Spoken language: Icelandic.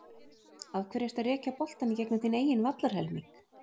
Af hverju ertu að rekja boltann í gegnum þinn eigin vallarhelming?